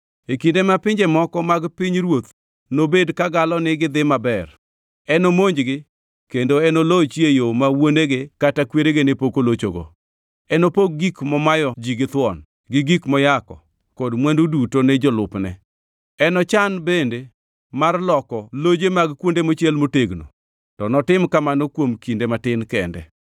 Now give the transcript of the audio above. E kinde ma pinje moko mag pinyruoth nobed kagalo ni gidhi maber, enomonjgi, kendo enolochi e yo ma wuonege kata kwerege ne pok olochogo. Enopog gik momayo ji githuon, gi gik moyako kod mwandu duto ne jolupne. Enochan bende mar loko loje mag kuonde mochiel motegno, to notim kamano kuom kinde matin kende.